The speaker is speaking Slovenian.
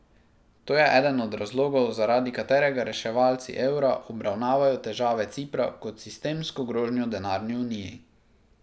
To je eden od razlogov, zaradi katerega reševalci evra obravnavajo težave Cipra kot sistemsko grožnjo denarni uniji.